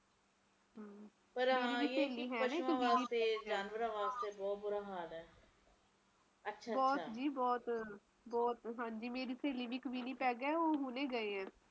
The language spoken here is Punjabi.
ਪਰ ਹਾਂ ਇਹ ਤਾ ਹੈ ਕੇ ਜਾਨਵਰਾਂ ਵਾਸਤੇ ਬਹੁਤ ਬੁਰਾ ਹਾਲ ਹੈ ਬਹੁਤ ਜੀ ਬਹੁਤ ਬਹੁਤ ਮੇਰੀ ਸਹੇਲੀ ਵੀ ਇੱਕ ਹੁਣੇ ਵਿਨੀ ਪੈੱਗ